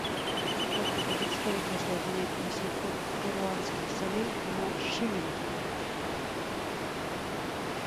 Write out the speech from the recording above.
сколько будет стоить если обменять восемьсот перуанских солей на шиллинги